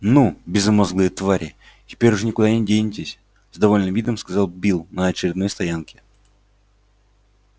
ну безмозглые твари теперь уж никуда не денетесь с довольным видом сказал билл на очередной стоянке